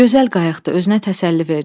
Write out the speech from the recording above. Gözəl qayıqdı, özünə təsəlli verdi.